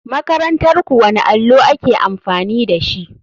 Makarantarku wani allo ake amfani dashi.